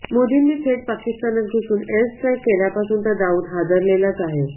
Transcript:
मोदींनी थेट पाकिस्तानात घुसून एअरस्ट्राईक केल्यापासून तर दाऊद हादरलेलाच आहे